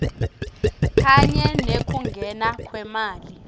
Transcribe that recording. kanye nekungena kwemali